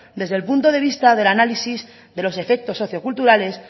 desde el punto de vista del análisis de los efectos socio culturales